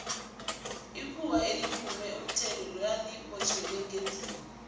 ikhuwa eliphule umthetho lali botjhelwa ngendlini